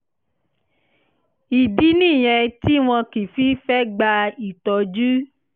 ìdí nìyẹn tí wọn kì í fi í fẹ́ gba ìtọ́jú